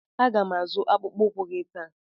A ga m azụ akpụkpọ ụkwụ gị taa.